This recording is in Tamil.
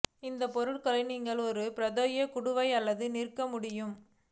இந்த பொருட்களை நீங்கள் ஒரு பிரத்யேக குடுவை அல்லது நிற்க முடியும்